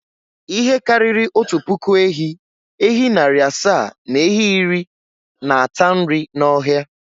Ihe karịrị otu puku ehi, ehi narị asa na ehi iri na-ata nri n’ọhịa.